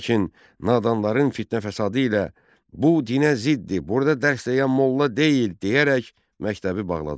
Lakin nadanların fitnə-fəsadı ilə "bu dinə ziddir, burda dərs deyən molla deyil" deyərək məktəbi bağladılar.